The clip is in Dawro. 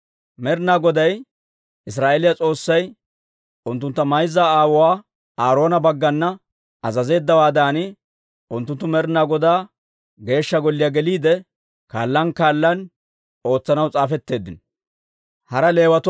Med'inaa Goday Israa'eeliyaa S'oossay unttunttu mayza aawuwaa Aaroona bagganna azazeeddawaadan, unttunttu Med'inaa Godaa Geeshsha Golliyaa geliide, kaallan kaallan ootsanaw s'aafetteeddino.